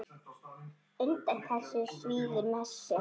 Undan þessu svíður Messi.